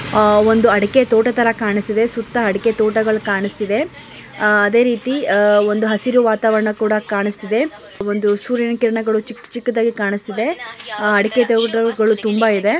ಅ ಒಂದು ಅಡಿಕೆ ತೋಟ ತರ ಕಾಣಿಸ್ತಿದೆ ಸುತ್ತಾ ಅಡಿಕೆ ತೋಟಗಳು ಕಾಣಸ್ತಿದೆ. ಅಹ್ ಅದೇ ರೀತಿ ಅ ಒಂದು ಹಸಿರು ವಾತಾವರಣ ಕೂಡ ಕಾಣಸ್ತಿದೆ. ಅ ಒಂದು ಸೂರ್ಯನ ಕಿರಣಗಳು ಚಿಕ್ಕ ಚಿಕ್ಕದಾಗಿ ಕಾಣಸ್ತಿದೆ. ಅಹ್ ಅಡಿಕೆ ಥೇವುಟರ್ಗಳು ತುಂಬ ಇದೆ .